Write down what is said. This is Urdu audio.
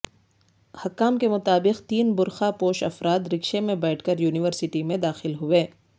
حکام کے مطابق تین برقع پوش افراد رکشے میں بیٹھ کر یونیورسٹی میں داخل ہوئے